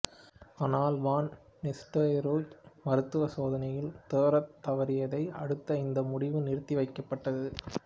ஆனால் van Nistelrooy மருத்துவ சோதனையில் தேறத் தவறியதை அடுத்து இந்த முடிவு நிறுத்தி வைக்கப்பட்டது